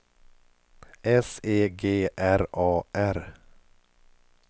S E G R A R